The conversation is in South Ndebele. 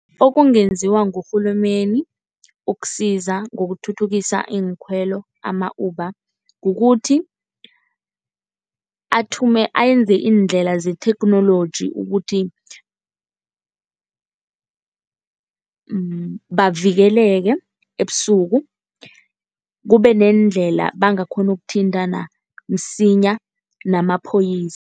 Okungenziwa ngurhulumeni ukusiza ngokuthuthukisa iinkhwelo ama-Uber kukuthi, ayenza iindlela zetheknoloji ukuthi bavikeleke ebusuku kube neendlela abangakghona ukuthintana msinya namapholisa.